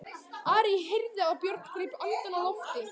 Ari heyrði að Björn greip andann á lofti.